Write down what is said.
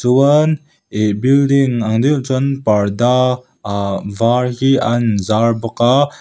chuan ih building ang deuh chuan parda a var hi an zar bawka.